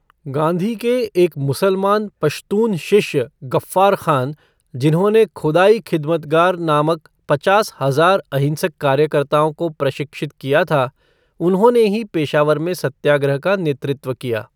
गांधी के एक मुसलमान पश्तून शिष्य गफ़्फ़ार ख़ान, जिन्होंने खुदाई खिदमतगर नामक पचास हजार अहिंसक कार्यकर्ताओं को प्रशिक्षित किया था, उन्होंने ही पेशावर में सत्याग्रह का नेतृत्व किया।